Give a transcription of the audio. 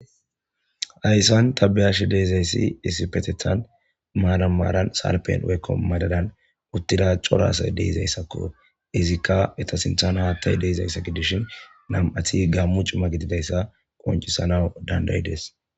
hayssan ta beyash deezayssi disipetethan maara maaran sarpen weykko madadan uttida corasay deizayssakko izikka eta sinthana haattay deizayssa gidishin nam7athi gammu cuma gididayssa qoncisana dandayides